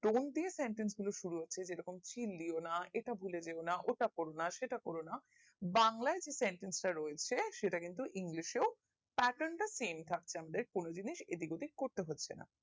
don't দিয়ে sentence গুলো সুর হচ্ছে যে রকম চিলিওনা এটা ভুলে যেওনা ওটা করো না সেটা করোনা বাংলাই যে sentence গুলো রয়রছে সেটা কিন্তু english এও pattern টা same থাকছে আমাদের কোনো জিনিস এদিক ওদিক করতে হচ্ছে না